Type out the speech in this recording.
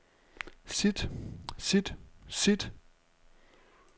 sit sit sit